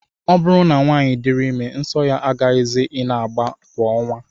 Ọ bụrụ na nwaanyị diri ime, nsọ ya agaghịzi ị na-agba kwa ọnwa